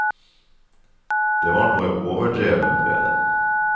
Det var noe overdrevent ved det.